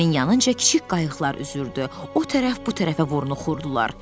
Gəminin yanınca kiçik qayıqlar üzürdü, o tərəf, bu tərəfə vornuxurdular.